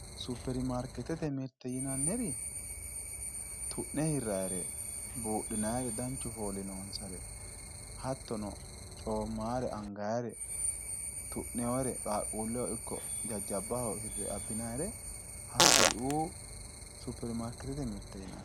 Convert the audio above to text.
superimaarkeetete mirte yinaniri tu'ne hirrannire buudhinannire danchu fooli noonsare hattono coommannore angannire tu'noonnire qaaqquulleho ikko jajjabbaho hirre abbinannire hakkuriuu superimaarkeetete mirte yinanni.